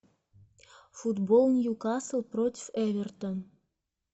футбол ньюкасл против эвертон